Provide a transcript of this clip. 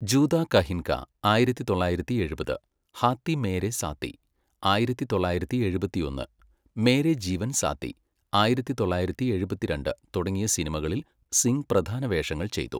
ജൂതാ കഹിൻ കാ, ആയിരത്തി തൊള്ളായിരത്തി എഴുപത്, ഹാത്തി മേരെ സാത്തി, ആയിരത്തി തൊള്ളായിരത്തി എഴുപത്തിയൊന്ന്, മേരെ ജീവൻ സാത്തി, ആയിരത്തി തൊള്ളായിരത്തി എഴുപത്തിരണ്ട്, തുടങ്ങിയ സിനിമകളിൽ സിംഗ് പ്രധാന വേഷങ്ങൾ ചെയ്തു.